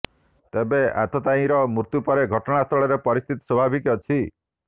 ତେବେ ଆତତାୟୀର ମୃତ୍ୟୁ ପରେ ଘଟଣାସ୍ଥଳରେ ପରିସ୍ଥିତି ସ୍ୱଭାବିକ ଅଛି